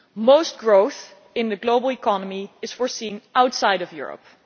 Most growth in the global economy is foreseen as coming outside of Europe.